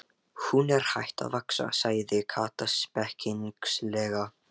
Hún er hætt að vaxa! sagði Kata spekings- lega.